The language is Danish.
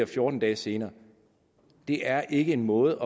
fjorten dage senere det er ikke en måde